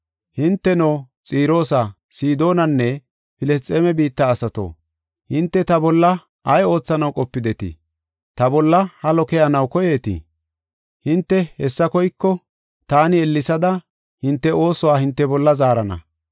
“Hinteno, Xiroosa, Sidoonanne Filisxeeme biitta asato, hinte ta bolla ay oothanaw qopidetii? Ta bolla halo keyanaw koyeetii? Hinte hessa koyiko, taani ellesada hinte oosuwa hinte bolla zaarana.